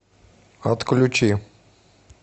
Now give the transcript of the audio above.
отключи